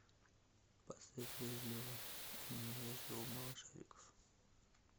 поставь вежливо и невежливо малышариков